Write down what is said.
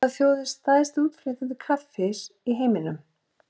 Hvaða þjóð er stærsti útflytjandi kaffis í heiminum?